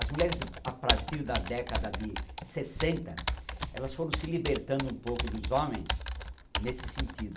As mulheres a partir da década de sessenta, elas foram se libertando um pouco dos homens nesse sentido.